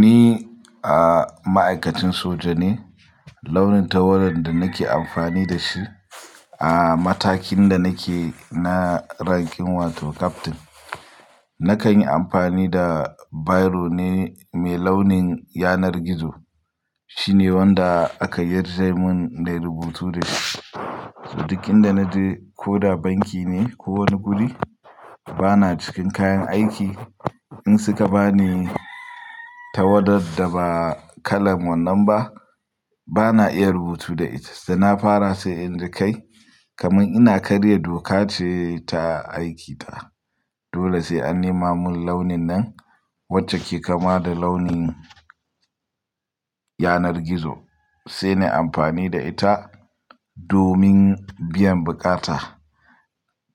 Ni a ma'aikacin soja ne, launin tawada da nake amfani da shi a matakin da nake na ranking wato captain. Na kan yi amfani da biro ne mai launin yanar gizo. Shine wanda aka yarda min da rubutu da ita. Saboda duk inda naje ko da banki ne ko wani guri, bana cikin kayan aiki. In suka bani tawada da ba kalan wannan ba, bana iya rubutu da ita, sai na fara sai in ji kai kamar ina karya doka ce ta aiki ta. Dole sai an nema mun launin nan wacce ke kama da launin yanar gizo, sai na yi amfani da ita domin biyan bukata.